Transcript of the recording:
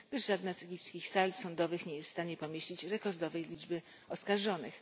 Żadna z egipskich sal sądowych nie jest wstanie pomieścić rekordowej liczby oskarżonych.